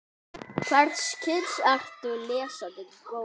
Hvers kyns ertu lesandi góður?